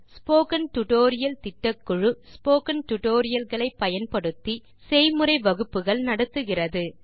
spoken tutorial திட்டக்குழு spoken tutorial களை பயன்படுத்தி செய்முறை வகுப்புகள் நடத்துகிறது